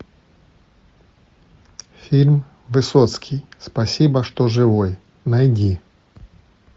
фильм высоцкий спасибо что живой найди